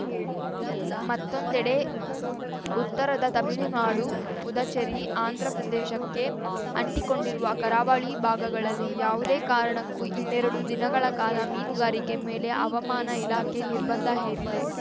ಮತ್ತೊಂದೆಡೆ ಉತ್ತರದ ತಮಿಳುನಾಡು ಪುದಚೇರಿ ಆಂಧ್ರಪ್ರದೇಶಕ್ಕೆ ಅಂಟಿಕೊಂಡಿರುವ ಕರಾವಳಿ ಭಾಗಗಳಲ್ಲಿ ಯಾವುದೇ ಕಾರಣಕ್ಕೂ ಇನ್ನೆರಡು ದಿನಗಳ ಕಾಲ ಮೀನುಗಾರಿಕೆ ಮೇಲೆ ಹವಾಮಾನ ಇಲಾಖೆ ನಿರ್ಬಂಧ ಹೇರಿದೆ